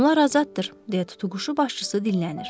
Onlar azaddır, deyə tutuquşu başçısı dinlənir.